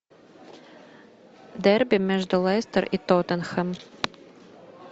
дерби между лестер и тоттенхэм